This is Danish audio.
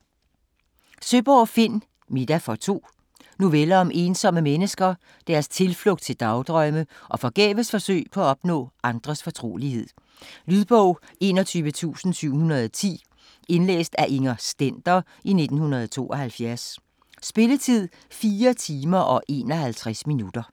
Søeborg, Finn: Middag for to Noveller om ensomme mennesker, deres tilflugt til dagdrømme og forgæves forsøg på at opnå andres fortrolighed. Lydbog 21710 Indlæst af Inger Stender, 1972. Spilletid: 4 timer, 51 minutter.